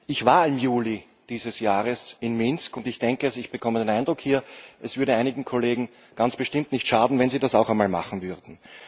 Ich war im Juli dieses Jahres in Minsk, und ich bekomme den Eindruck hier, es würde einigen Kollegen ganz bestimmt nicht schaden, wenn sie das auch einmal machen würden.